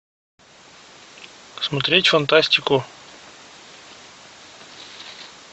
смотреть фантастику